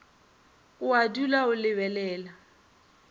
o a dula o lebelela